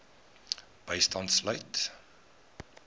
bystand sluit